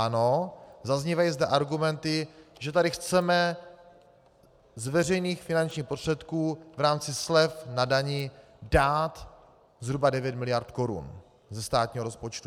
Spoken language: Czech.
Ano, zaznívají zde argumenty, že tady chceme z veřejných finančních prostředků v rámci slev na dani dát zhruba 9 miliard korun ze státního rozpočtu.